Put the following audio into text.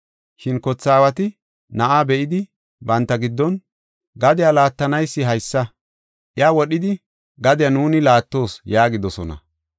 “Shin kothe aawati na7aa be7idi banta giddon ‘Gadiya laattanaysi haysa, iya wodhidi gadiya nuuni laattoos!’ yaagidosona.